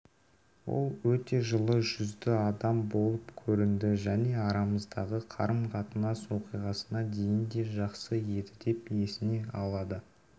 ол өте жылы жүзді адам болып көрінді және арамыздағы қарым-қатынас оқиғасына дейін де жақсы едідеп есіне алады